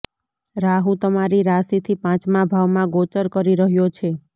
રાહુ તમારી રાશિથી પાંચમા ભાવમાં ગોચર કરી રહ્યો છે